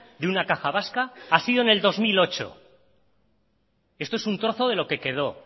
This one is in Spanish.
de una caja vasca ha sido en el dos mil ocho esto es un trozo de lo que quedó